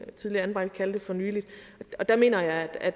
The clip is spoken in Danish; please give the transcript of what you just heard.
tidligere anbragte kalde det for nylig der mener jeg at